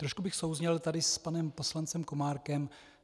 Trošku bych souzněl tady s panem poslancem Komárkem.